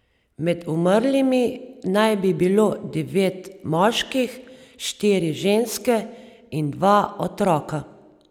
Med umrlimi naj bi bilo devet moških, štiri ženske in dva otroka.